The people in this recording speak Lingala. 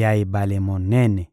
ya ebale monene.»